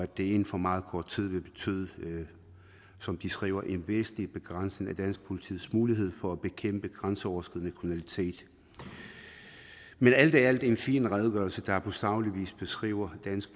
det inden for meget kort tid vil betyde som de skriver en væsentlig begrænsning af dansk politis muligheder for at bekæmpe grænseoverskridende kriminalitet men alt i alt er det en fin redegørelse der på saglig vis beskriver dansk